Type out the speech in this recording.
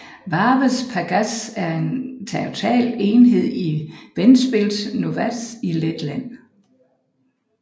Vārves pagasts er en territorial enhed i Ventspils novads i Letland